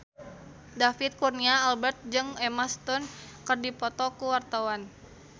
David Kurnia Albert jeung Emma Stone keur dipoto ku wartawan